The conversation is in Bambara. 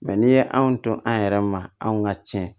n'i ye anw to an yɛrɛ ma anw ka tiɲɛ